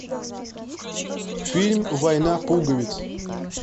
фильм война пуговиц